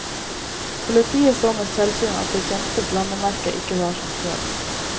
Politiet så med selvsyn at det kjente landemerket ikke var som før.